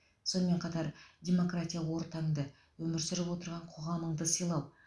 сонымен қатар демократия ортаңды өмір сүріп отырған қоғамыңды сыйлау